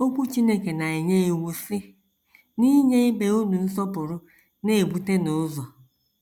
Okwu Chineke na - enye iwu, sị: “ N’inye ibe unu nsọpụrụ, na - ebutenụ ụzọ. ”